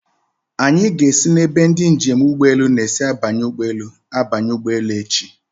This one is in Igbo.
Anyị ga-esi n'ebe ndị njem ụgbọelu na-esi abanye ụgbọelu abanye ụgbọelu echi.